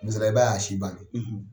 Misaliya la i b'a y'a si ban na.